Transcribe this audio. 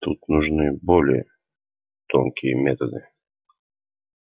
тут нужны более тонкие методы